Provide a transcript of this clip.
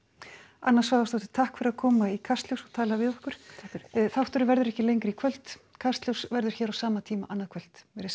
anna Svavarsdóttir takk fyrir að koma í Kastljós og tala við okkur þátturinn verður ekki lengri í kvöld Kastljós verður hér á sama tíma annað kvöld verið sæl